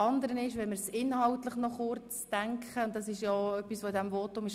Noch zum inhaltlichen Aspekt, der ebenfalls erwähnt worden ist: